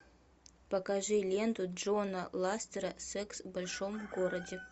покажи ленту джона ластера секс в большом городе